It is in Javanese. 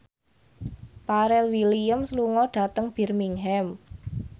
Pharrell Williams lunga dhateng Birmingham